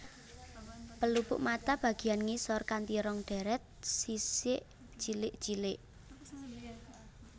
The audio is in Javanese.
Pelupuk mata bagiyan ngisor kanti rong deret sisik cilik cilik